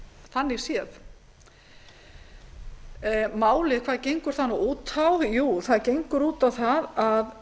þannig séð hvað gengur málið út á það gengur út á það að